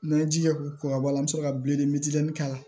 N'an ye jija k'o kɔkɔ bɔ a la an bɛ sɔrɔ ka bilen k'a la